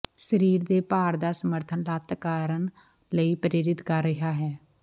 ਸਰੀਰ ਦੇ ਭਾਰ ਦਾ ਸਮਰਥਨ ਲੱਤ ਕਰਨ ਲਈ ਪ੍ਰੇਰਿਤ ਕਰ ਰਿਹਾ ਹੈ